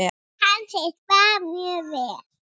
Kann sitt fag mjög vel.